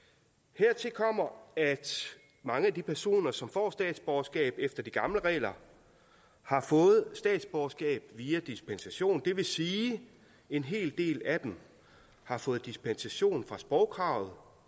hertil kommer at mange af de personer som får statsborgerskab efter de gamle regler har fået statsborgerskab via dispensation det vil sige at en hel del af dem har fået dispensation fra sprogkravet og